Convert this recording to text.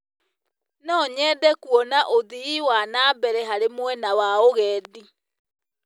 No nyende kuona ũthii wa na mbere harĩ mwena wa ũgendi.